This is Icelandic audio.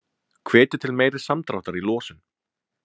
Hvetja til meiri samdráttar í losun